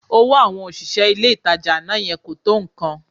Owó àwọn òṣìṣẹ́ ilé-ìtajà àná yẹn kò tó nǹkan